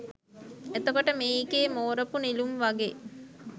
එතකොට මේකේ මෝරපු නෙළුම් වගේ